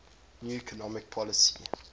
new economic policy